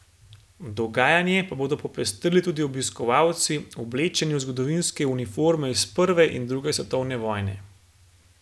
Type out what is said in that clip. Dogajanje pa bodo popestrili tudi obiskovalci, oblečeni v zgodovinske uniforme iz prve in druge svetovne vojne.